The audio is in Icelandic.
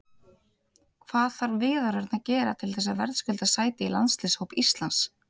Hvað þarf Viðar Örn að gera til þess að verðskulda sæti í landsliðshóp Íslands?